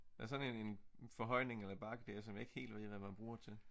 Der er sådan en en en forhøjning eller bakke dér som jeg ikke helt ved hvad man bruger til